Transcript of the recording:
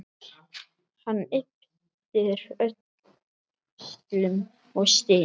Hann ypptir öxlum og stynur.